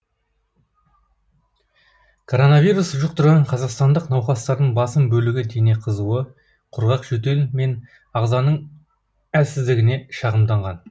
коронавирус жұқтырған қазақстандық науқастардың басым бөлігі дене қызуы құрғақ жөтел мен ағзаның әлсіздігіне шағымданған